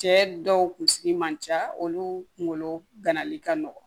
Cɛ dɔw kun sigi man ca olu kunkolo ganali ka nɔgɔn